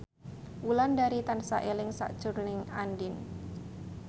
Wulandari tansah eling sakjroning Andien